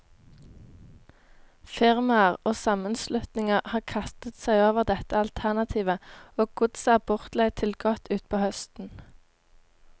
Firmaer og sammenslutninger har kastet seg over dette alternativet, og godset er bortleid til godt utpå høsten.